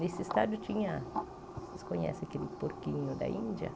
Nesse estádio tinha, vocês conhecem aquele porquinho da Índia?